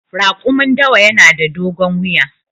Raƙumin dawa yana da dogon wuya.